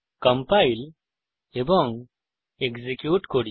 compile এবং execute করি